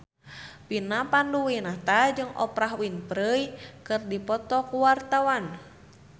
Vina Panduwinata jeung Oprah Winfrey keur dipoto ku wartawan